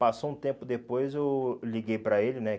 Passou um tempo depois, eu liguei para ele, né?